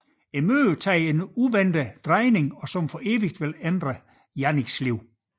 Mødet tager dog en uventet drejning som for evigt vil ændre Janniks liv